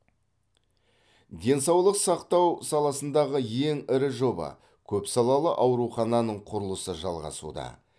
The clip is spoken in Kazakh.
денсаулық сақтау саласындағы ең ірі жоба көпсалалы аурухананың құрылысы жалғасуда